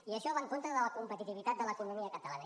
i això va en contra de la competitivitat de l’economia catalana